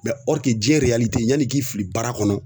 Mɛ ɔrike jiɲɛ ereyalite yanni i k'i fili baara kɔnɔ